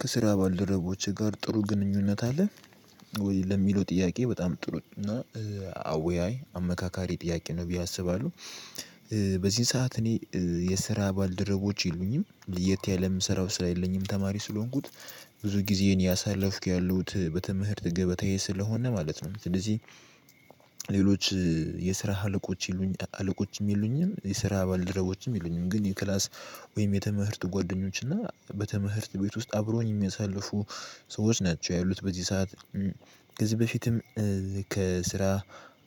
ከስራ ባልደረቦችህ ጋር ጥሩ ግንኙነት አለህ ወይ ለሚለው ጥያቄ በጣም ጥሩ እና አወያይ አመካካሪ ጥያቄ ነው ብዬ አስባለሁ። በዚህን ሰዓት እኔ የስራ ባልደረቦች የሉኝም፣ ለየት ያለም ስራው ስለ ሌለኝም ተማሪ ስለሆንኩት ብዙ ጊዜን እያሳለፍኩ ያሉት በትምህርት ገበተዬ ስለሆነ ማለት ነው። ስለዚህ ሌሎች የስራ ሀለቆች ይሉኝ ሀለቆችም የሉኝም፣ የስራ ባልደረቦችም ይሉኝም። ግን የክላስ ወይም የተመህርት ጓደኞች እና በተመህርት ቤት ውስጥ አብሮኝ የሚያሳልፉ ሰዎች ናቸው ያሉት በዚህ ሰዓት። ከዚህ በፊትም ከስራ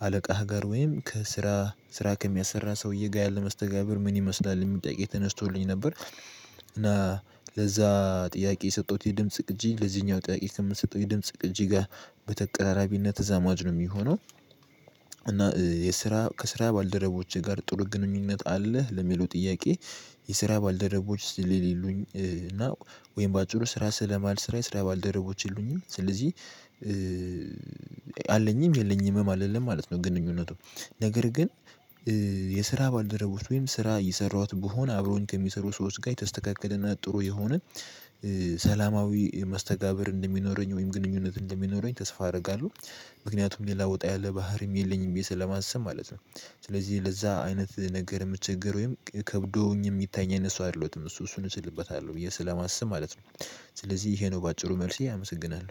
አለቃህ ጋር ወይም ከስራ ስራ ከሚያሰራ ሰውዬ ጋር ያለ መስተጋብር ምን ይመስላል የሚል ጥያቄ ተነስቶልኝ ነበር እና ለዛ ጥያቄ የሰጠሁት የድምጽ ቅጂ ለዚህኛው ጥያቄ ከምትሰጠው የድምጽ ቅጂ ጋር በተቀራራቢነት ተዛማጅ ነው የሚሆነው። እና የስራ ከስራ ባልደረቦቼ ጋር ጥሩ ግንኙነት አለህ ለሚሉ ጥያቄ የስራ ባልደረቦች ስለሌሉኝ እና ወይም በአጭሩ ስራ ስለማልሰራ የስራ ባልደረቦች የሉኝም። ስለዚህ አለኝም የለኝምም አልልም ማለት ነው ግንኙነቱ። ነገር ግን የስራ ባልደረቦች ወይም ስራ እየሰራሁት ብሆን አብሮኝ ከሚሰሩ ሰዎች ጋር የተስተካከለና ጥሩ የሆነ ሰላማዊ መስተጋብር እንደሚኖረኝ ወይም ግንኙነት እንደሚኖረኝ ተስፋ አደርጋለሁ። ምክንያቱም ሌላ ወጣ ያለ ባህሪም የለኝም ብዬ ስለማስብ ማለት ነው። ስለዚህ ለዛ አይነት ነገር የምቸገር ወይም ከብዶኝ የሚታየኝ እሱ አይደሎትም። እሱ እሱን እችልበታለሁ ብዬ ስለማስብ ማለት ነው። ስለዚህ ይሄ ነው በአጭሩ መልስ ያመሰግናሉ።